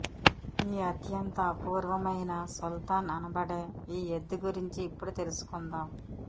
ఈ అత్యంత అపూర్వమైన సుల్తాన్ అనబడే ఈ ఎద్దు గురించి ఇప్పుడు తెలుసుకుందాం